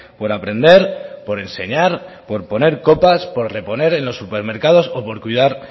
por aprender por enseñar por poner copas por reponer en los supermercados o por cuidar